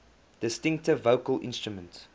distinctive vocal instrument